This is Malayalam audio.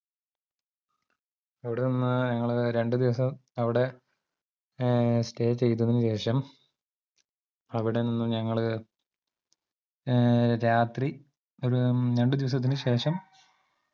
അവിടെ നിന്ന് ഞങ്ങൾ രണ്ടുദിവസം അവിടെ ഏർ stay ചെയ്തതിനുശേഷം അവിടെ നിന്നും ഞങ്ങള് ഏർ രാത്രി ഒര് രണ്ടുദിവസത്തിന്ന്ശേഷം